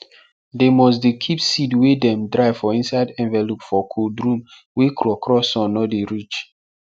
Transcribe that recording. dem must dey keep seed wey dem dry for inside envelope for cold room wey krokro sun nor dey reach